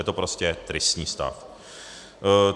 Je to prostě tristní stav.